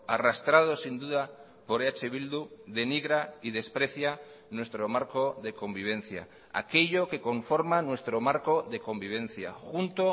arrastrado sin duda por eh bildu denigra y desprecia nuestro marco de convivencia aquello que conforma nuestro marco de convivencia junto